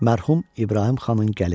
Mərhum İbrahim xanın gəliri.